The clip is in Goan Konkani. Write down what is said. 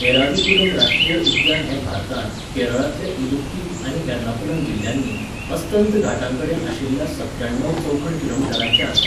एराविकुलम राश्ट्रीय उद्यान हें भारतांत, केरळांतल्या इदुक्की आनी एर्नाकुलम जिल्ल्यांनी, अस्तंत घाटांकडेन आशिल्लें सत्त्याण्णव चौखण किलोमीटरांचें आसा.